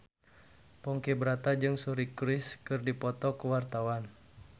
Ponky Brata jeung Suri Cruise keur dipoto ku wartawan